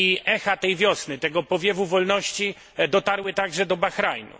Echa tej wiosny, tego powiewu wolności dotarły także do Bahrajnu.